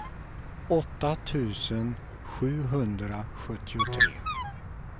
åtta tusen sjuhundrasjuttiotre